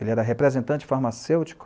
Ele era representante farmacêutico.